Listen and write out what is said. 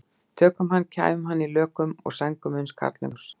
Tökum hann og kæfum í lökum og sængum uns karlmenn koma í hús.